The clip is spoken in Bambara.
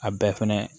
A bɛɛ fɛnɛ